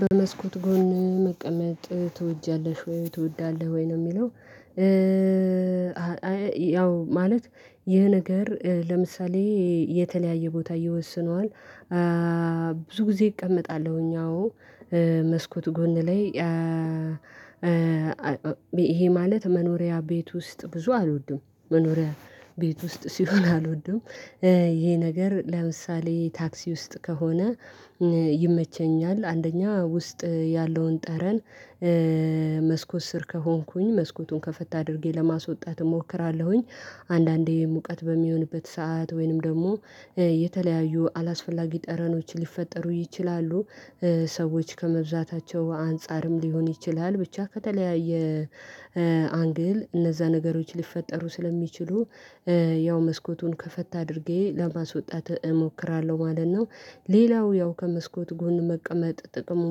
በመስኮት ጎን መቀመጥ ትወጃለሽ ወይ? ትወዳለሽ ወይ? ነው የሚለው ያው ማለት ይህ ነገር ለምሳሌ የተለያየ ቦታ ይወስነዋል። ብዙ ጊዜ እቀመጣለሁኝ አዎ መስኮት ጎን ላይ ይሄ ማለት መኖሪያ ቤት ውስጥ ብዙ አልወድም። መኖሪያ ቤት ውስጥ ሲሆን አልወድም። ይሄ ነገር ለምሳሌ ታክሲ ውስጥ ከሆነ ይመቸኛል። አንደኛ ውስጥ ያለውን ጠረን መስኮት ስር ከሆንኩኝ መስኮቱን ከፈት አድርጌ ለማስወጣት እሞክራለሁኝ። አንዳንዴ ሙቀት በሚሆንበት ሰዓት ወይንም ደግሞ የተለያዩ አላስፈላጊ ጠረኖች ሊፈጠሩ ይችላሉ። ሰዎች ከመብዛታቸው አንፃርም ሊሆን ይችላል። ብቻ ከተለያየ አንግል እነዛ ነገሮች ሊፈጠሩ ስለሚችሉ ያው መስኮቱን ከፈታ አድርጌ ለማስወጣት እሞክራለሁ ማለት ነው። ሌላው ያው ከመስኮት ጎን መቀመጥ ጥቅሙ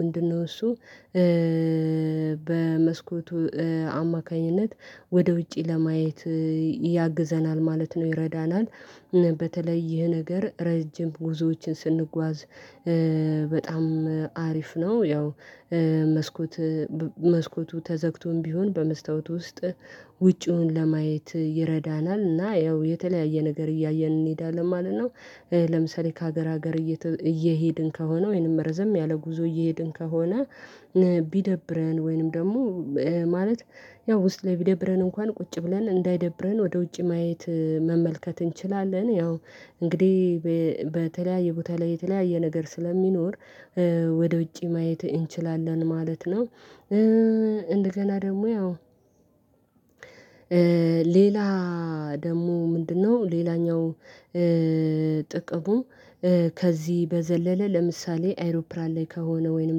ምንድነው እሱ በመስኮቱ አማካኝነት ወደ ውጪ ለማየት ያግዘናል ማለት ነው። ይረዳናል። በተለይ ይህ ነገር ረጅም ጉዞዎችን ስንጓዝ በጣም አሪፍ ነው። ያው መስኮት መስኮቱ ተዘግቶም ቢሆን በመስታወቱ ውስጥ ውጪውን ለማየት ይረዳናል። እና ያው የተለያየ ነገር እያየን እንሄዳለን ማለት ነው። ለምሳሌ ከሀገር ሀገር እየሄድን ከሆነ ወይንም ረዘም ያለ ጉዞ እየሄድን ከሆነ ቢደብረን ወይንም ደግሞ ማለት ያው ውስጥ ላይ ቢደብረን እንኳን ቁጭ ብለን እንዳይደብረን ወደ ውጪ ማየት መመልከት እንችላለን። ያው እንግዲህ በተለያየ ቦታ ላይ የተለያየ ነገር ስለሚኖር ወደ ውጪ ማየት እንችላለን ማለት ነው። እንደገና ደግሞ ያው ሌላ ደግሞ ምንድነው ሌላኛው ጥቅሙ ከዚህ በዘለለ ለምሳሌ አይሮፕላን ላይ ከሆነ ወይንም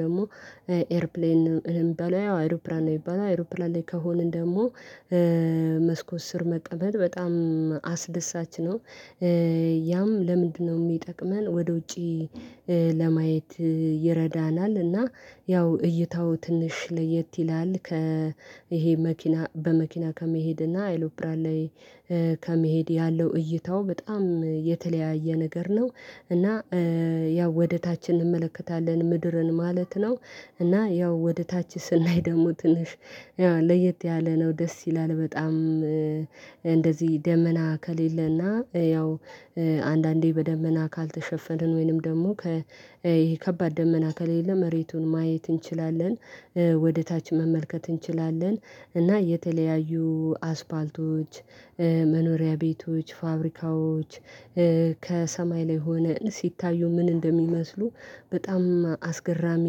ደግሞ ኤርፕሌን እንበለው ያው አይሮፕላን ነው የሚባለው አይሮፕላን ላይ ከሆንን ደግሞ መስኮት ስር መቀመጥ በጣም አስደሳች ነው። ያም ለምንድነው የሚጠቅመን ወደ ውጪ ለማየት ይረዳናል። እና ያው እይታው ትንሽ ለየት ይላል። ከይሄ መኪና በመኪና ከመሄድ እና አይሎፕራን ላይ ከመሄድ ያለው እይታው በጣም የተለያየ ነገር ነው። እና ያው ወደ ታች እንመለከታለን ምድርን ማለት ነው። እና ያው ወደ ታች ስናይ ደግሞ ትንሽ ያው ለየት ያለ ነው ደስ ይላል በጣም እንደዚህ ደመና ከሌለና ያው አንዳንዴ በደመና ካልተሸፈንን ወይንም ደግሞ ከከባድ ደመና ከሌለ መሬቱን ማየት እንችላለን። ወደ ታች መመልከት እንችላለን። እና የተለያዩ አስፋልቶች፣ መኖሪያ ቤቶች፣ ፋብሪካዎች ከሰማይ ላይ ሆነን ሲታዩ ምን እንደሚመስሉ በጣም አስገራሚ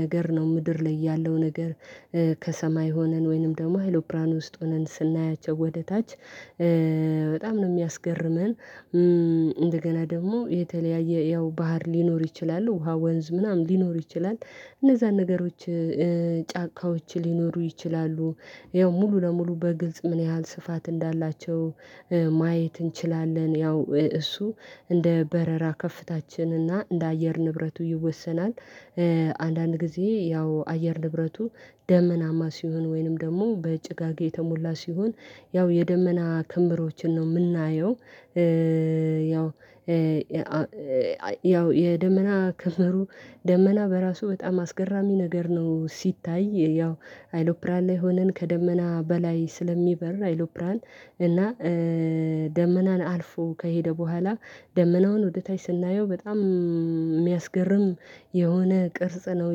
ነገር ነው። ምድር ላይ ያለው ነገር ከሰማይ ሆነን ወይንም ደግሞ አይሮፕላን ውስጥ ሆነን ስናያቸው ወደ ታች በጣም ነው የሚያስገርመን። እንደገና ደግሞ የተለያየ ያው ባህር ሊኖር ይችላሉ። ውሃ ወንዝ ምናምን ሊኖር ይችላል። እነዛን ነገሮች ጫካዎች ሊኖሩ ይችላሉ። ያው ሙሉ ለሙሉ በግልጽ ምን ያህል ስፋት እንዳላቸው ማየት እንችላለን። ያው እሱ እንደ በረራ ከፍታችን እና እንደ አየር ንብረቱ ይወሰናል። አንዳንድ ጊዜ ያው አየር ንብረቱ ደመናማ ሲሆን ወይንም ደግሞ በጭጋግ የተሞላ ሲሆን ያው የደመና ክምሮችን ነው የምናየው። ያው ያው የደመና ክመሩ ደመና በራሱ በጣም አስገራሚ ነገር ነው ሲታይ። ያው አይሎፕራን ላይ ሆነን ከደመና በላይ ስለሚበር አይሎፕራን እና ደመናን አልፎ ከሄደ በኋላ ደመናውን ወደ ታች ስናየው በጣም የሚያስገርም የሆነ ቅርጽ ነው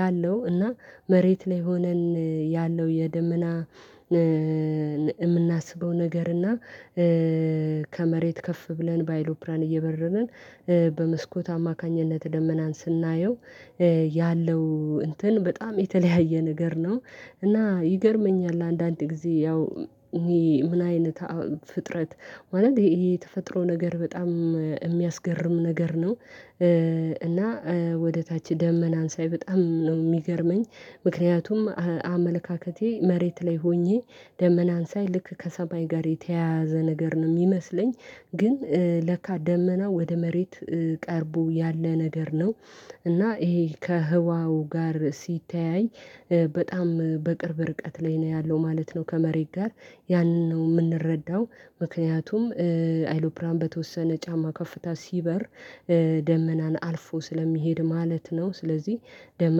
ያለው። እና መሬት ላይ ሆነን ያለው የደመና የምናስበው ነገር እና ከመሬት ከፍ ብለን ባይሎፕራን እየበረርን በመስኮት አማካኝነት ደመናን ስናየው ያለው እንትን በጣም የተለያየ ነገር ነው። እና ይገርመኛል አንዳንድ ጊዜ ያው ምን አይነት ፍጥረት ማለት ይሄ የተፈጥሮ ነገር በጣም የሚያስገርም ነገር ነው። እና ወደ ታች ደመናን ሳይ በጣም ነው የሚገርመኝ። ምክንያቱም አመለካከቴ መሬት ላይ ሆኜ ደመናን ሳይ ልክ ከሰማይ ጋር የተያያዘ ነገር ነው የሚመስለኝ ግን ለካ ደመና ወደ መሬት ቀርቦ ያለ ነገር ነው። እና ይሄ ከህዋው ጋር ሲተያይ በጣም በቅርብ ርቀት ላይ ነው ያለው ማለት ነው ከመሬት ጋር። ያንን ነው የምንረዳው። ምክንያቱም አይሎፕራን በተወሰነ ጫማ ከፍታ ሲበር ደመናን አልፎ ስለሚሄድ ማለት ነው። ስለዚህ ደመና